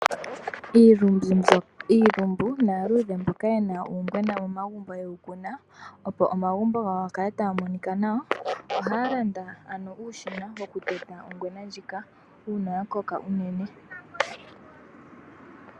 Iilumbu naaludhe mboka yena uungwena momagumbo ye wu kuna, opo omagumbo gawo ga kale taga monika nawa ohaya landa ano uushina wokuteta ongwena ndjika, uuna ya koka unene.